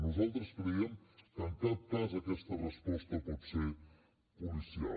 nosaltres creiem que en cap cas aquesta resposta pot ser policial